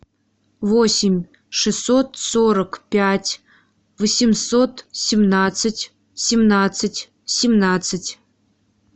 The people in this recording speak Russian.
восемь шестьсот сорок пять восемьсот семнадцать семнадцать семнадцать